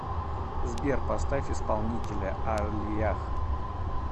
сбер поставь исполнителя аллиях